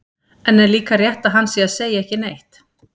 En er líka rétt að hann sé að segja ekki neitt?